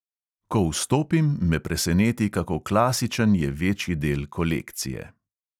Ko vstopim, me preseneti, kako klasičen je večji del kolekcije.